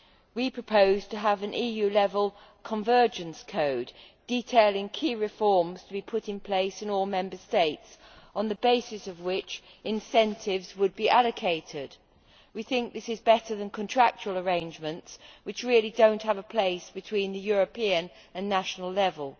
We propose to have an EU level convergence code, detailing key reforms to be put in place in all Member States, on the basis of which incentives would be allocated. We think this is better than contractual arrangements, which really do not have a place between the European and national level.